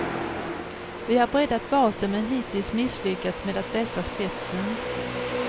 Vi har breddat basen men hittills misslyckats med att vässa spetsen.